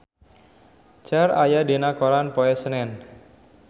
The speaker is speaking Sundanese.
Cher aya dina koran poe Senen